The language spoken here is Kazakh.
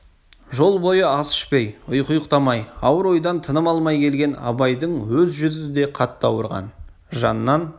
жол бойы ас ішпей ұйқы ұйықтамай ауыр ойдан тыным алмай келген абайдың өз жүзі де қатты ауырған жаннан